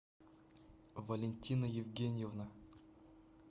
валентина евгеньевна